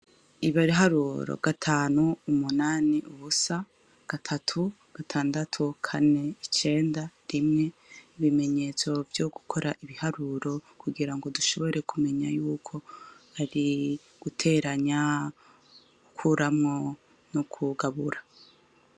Ibariharuro gatanu umunani uwusa gatatu gatandatu kane icenda rimwe ibimenyetso vyo gukora ibiharuro kugira ngo dushobore kumenya yuko ari guteranya ukuramwo no kwugabura.